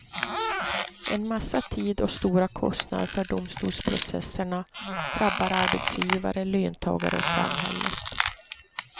En massa tid och stora kostnader för domstolsprocesserna drabbar arbetsgivare, löntagare och samhället.